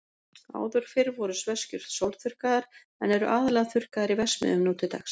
Áður fyrr voru sveskjur sólþurrkaðar, en eru aðallega þurrkaðar í verksmiðjum nú til dags.